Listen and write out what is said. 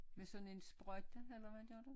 Med sådan en sprøjte eller hvad gør du